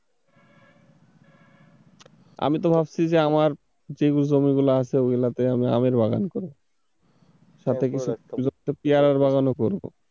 আমি তো ভাবছি যে আমার যেই জমিগুলো আছে ওগুলোতে আমি আমের বাগান করবো সাথে একটা ছোট্ট পিয়ারার বাগানো করব।